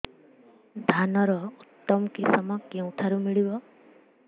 ଧାନର ଉତ୍ତମ କିଶମ କେଉଁଠାରୁ ମିଳିବ